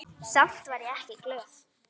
Samt var ég ekki glöð.